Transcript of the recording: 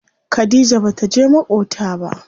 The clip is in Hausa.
Khadija bata je maƙota ba.